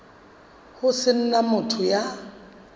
ho se na motho ya